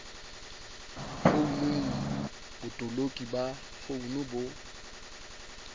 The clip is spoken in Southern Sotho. founung botoloki ba founu bo